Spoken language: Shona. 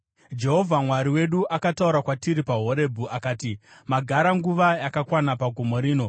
Jehovha Mwari wedu akataura kwatiri paHorebhi akati, “Magara nguva yakakwana pagomo rino.